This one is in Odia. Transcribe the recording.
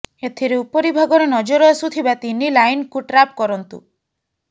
ଏଥିରେ ଉପରି ଭାଗରେ ନଜର ଆସୁଥିବା ତିନି ଲାଇନକୁ ଟ୍ରାପ୍ କରନ୍ତୁ